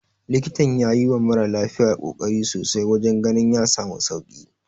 Likitan ya yiwa mara lafiyar kokari sosai wajen ganin ya samu sauki.